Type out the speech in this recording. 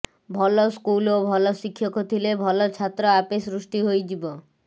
ଭଲ ସ୍କୁଲ ଓ ଭଲ ଶିକ୍ଷକ ଥିଲେ ଭଲ ଛାତ୍ର ଆପେ ସୃଷ୍ଟି ହୋଇଯିବ